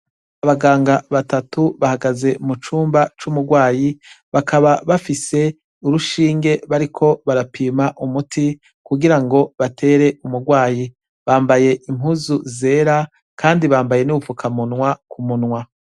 Abaganga batatu hahagaze mu cumba c' umurwayi, bakaba bafise urushinge bariko barapima umuti kugirango batere umurwayi. Bambaye impuzu zera kandi bambaye n' ubufukamunwa ku munwa.